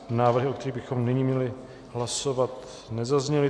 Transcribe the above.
Návrhy, o kterých bychom nyní měli hlasovat, nezazněly.